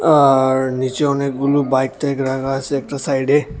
আর নীচে অনেকগুলো বাইক টাইক রাখা আছে একটা সাইডে।